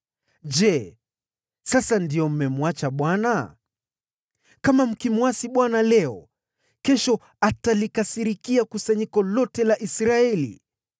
Je, sasa ndiyo mnamwacha Bwana ?“ ‘Kama mkimwasi Bwana leo, kesho atalikasirikia kusanyiko lote la Israeli.